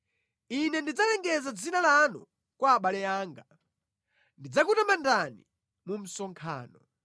Ine ndidzalengeza dzina lanu kwa abale anga; ndidzakutamandani mu msonkhano.